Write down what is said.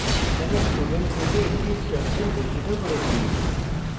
এখানে student রূপে একটি structure ঘোষিত করেছি